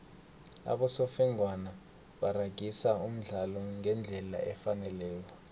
abosofengwana baragisa umdlalo ngendlela efaneleko